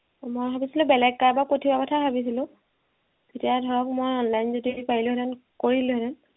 মই ভাবিছিলো বেলেগ কাৰোবাক পঠিওৱাৰ কথা ভাবিছিলো তেতিয়া ধৰক মই online যদি পাৰিলোহেঁতেন কৰি দিলোহেঁতেন